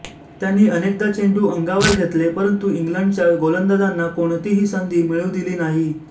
त्यांनी अनेकदा चेंडू अंगावर घेतले परंतू इंग्लंडच्या गोलंदाजांना कोणतीही संधी मिळू दिली नाही